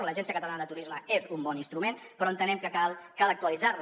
l’agència catalana de turisme és un bon instrument però entenem que cal actualitzar la